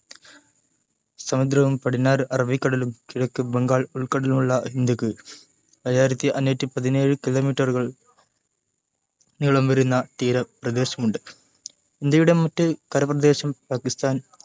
മഹാസമുദ്രവും പടിഞ്ഞാർ അറബിക്കടലും കിഴക്ക് ബംഗാൾ ഉൾക്കടലുമുള്ള ഇന്ത്യയ്ക്ക് ഏഴായിർത്തി അഞ്ഞൂറ്റി പതിനേഴ് kilometer ഉകൾ നീളം വരുന്ന തീരം പ്രദേശമുണ്ട് ഇന്ത്യയുടെ മറ്റു കരപ്രദേശം പാകിസ്താൻ